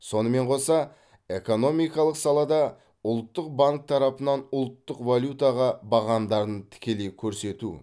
сонымен қоса экономикалық салада ұлттық банк тарапынан ұлттық валютаға бағамдарын тікелей көрсету